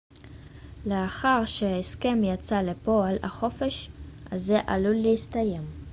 לאחר שההסכם יצא לפועל החופש הזה עלול להסתיים